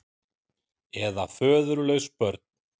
Eða föðurlaus börn.